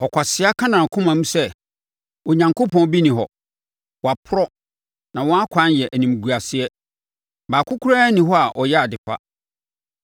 Ɔkwasea ka nʼakoma mu sɛ, “Onyankopɔn bi nni hɔ.” Wɔaporɔ, na wɔn akwan yɛ animguaseɛ. Baako koraa nni hɔ a ɔyɛ ade pa.